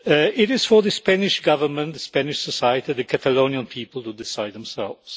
It is for the Spanish Government, Spanish society and the Catalonian people to decide for themselves.